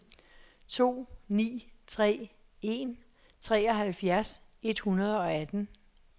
to ni tre en treoghalvfjerds et hundrede og atten